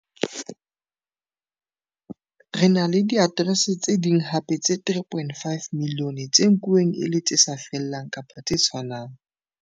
Re na le diaterese tse ding hape tse 3.5 milione tse nkuwang e le tse sa fellang kapa tse 'tshwanang.